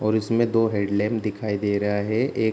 और इसमें दो हेडलाइट दिखाई दे रहा है एक --